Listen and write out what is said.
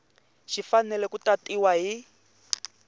xi fanele ku tatiwa hi